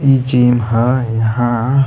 इ जिम ह यहाँ --